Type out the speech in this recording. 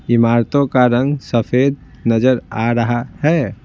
इमारतों का रंग सफेद नजर आ रहा है।